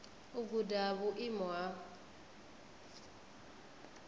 u guda ha vhuimo ha